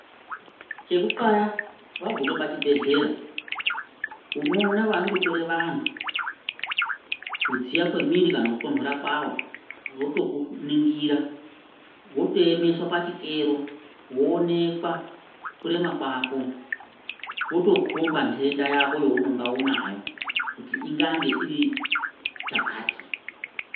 Chekuxaya wagume pachibhedhlera unoona vanondotore vanhu kujiya kwemiri kana kutonthora kwawo votokuningira wotoemeswa pachikero, woonekwa kurema kwako votokhomba nthenda yako younonga unayo kuti ingange iri chakati.